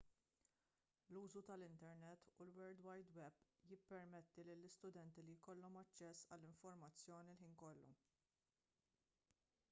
l-użu tal-internet u l-world wide web jippermetti lill-istudenti li jkollhom aċċess għall-informazzjoni l-ħin kollu